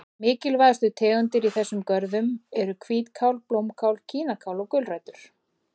Mikilvægustu tegundir í þessum görðum eru hvítkál, blómkál, kínakál og gulrætur.